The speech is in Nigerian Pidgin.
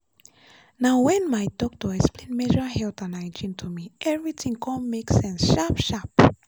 na when my doctor explain menstrual health and hygiene to me everything come make sense sharp-sharp.